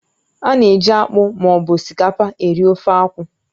Ána eji akpụ ma ọ bụ osikapa eri ofe akwụ